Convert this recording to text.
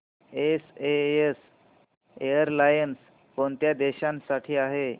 SAS airlines कोणत्या देशांसाठी आहे